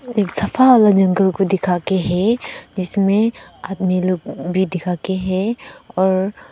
एक सफा वाला जंगल को दिखाके है इसमे अपने लोग भी दिखाके है और--